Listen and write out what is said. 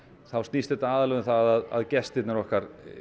þá snýst þetta aðallega um það að gestirnir okkar